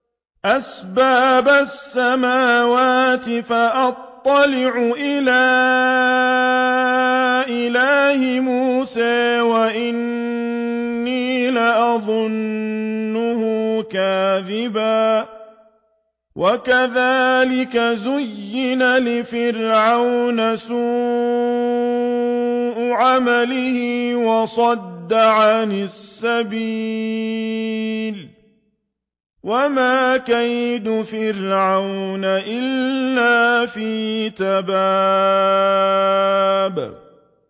أَسْبَابَ السَّمَاوَاتِ فَأَطَّلِعَ إِلَىٰ إِلَٰهِ مُوسَىٰ وَإِنِّي لَأَظُنُّهُ كَاذِبًا ۚ وَكَذَٰلِكَ زُيِّنَ لِفِرْعَوْنَ سُوءُ عَمَلِهِ وَصُدَّ عَنِ السَّبِيلِ ۚ وَمَا كَيْدُ فِرْعَوْنَ إِلَّا فِي تَبَابٍ